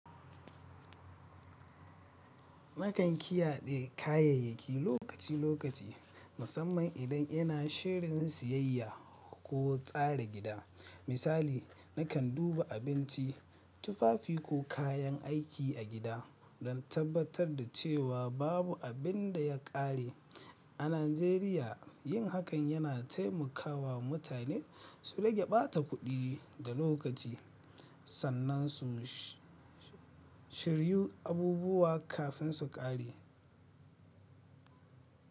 Nakan ƙiyade kayayyaki lokaci-lokaci, musamman idan ina shirin siyayya ko tsara gida. Misali, nakan duba abinci, tufafi ko kayan aiki a gida don tabbatar da cewa babu abin da ya ƙare. A Najeriya, yin hakan yana taimaka wa mutane su rage ɓata kuɗi da lokaci sannan su shiryu abubuwa kafin su ƙare.